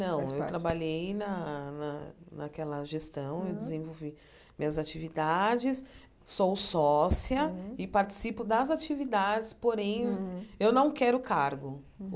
Não, Faz parte eu trabalhei na na naquela gestão, eu desenvolvi minhas atividades, sou sócia e participo das atividades, porém, eu não quero cargo.